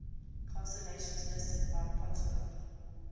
constellations listed by ptolemy